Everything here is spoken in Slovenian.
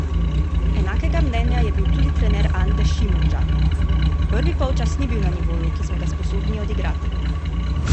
Enakega mnenja je bil tudi trener Ante Šimundža: "Prvi polčas ni bil na nivoju, ki smo ga sposobni odigrati.